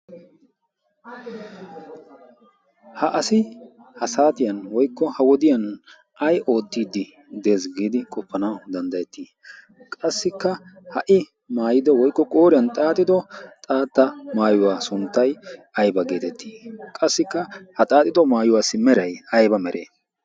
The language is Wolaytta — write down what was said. ha asi ha saatiyan woikko ha wodiyan ai oottiiddi dees giidi qoppana danddayettii qassikka ha77i maayido woikko qooriyan xaaxido xaatta maayuwaa sunttai aiba geetettii? qassikka ha xaaxido maayuwaassi merai aiba mere?